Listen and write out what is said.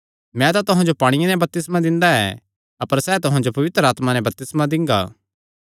मैं तां तुहां जो पांणिये नैं बपतिस्मा दित्ता ऐ अपर सैह़ तुहां जो पवित्र आत्मा नैं बपतिस्मा दिंगा